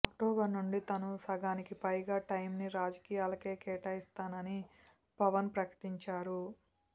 October నుంచి తాను సగానికిపైగా టైంని రాజకీయాలకే కేటాయిస్తానని పవన్ ప్రకటించారు